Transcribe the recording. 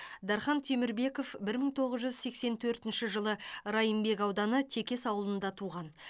дархан темірбеков бір мың тоғыз жүз сексен төртінші жылы райымбек ауданы текес ауылында туған